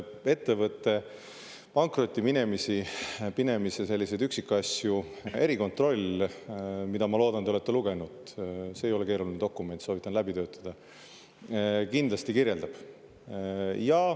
Ettevõtte pankrotti minemise selliseid üksikasju erikontroll – mida, ma loodan, te olete lugenud, see ei ole keeruline dokument, soovitan läbi töötada – kindlasti kirjeldab.